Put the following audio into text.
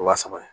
Wa saba ye